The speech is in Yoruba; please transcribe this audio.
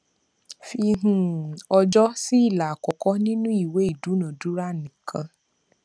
fi um ọjọ sí ilà àkọkọ nínú ìwé ìdúnadúrà nìkan